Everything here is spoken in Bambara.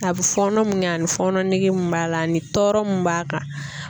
A bɛ fɔɔnɔ mun kɛ ani fɔɔnɔ nigi mun b'a la ani tɔɔrɔ mun b'a kan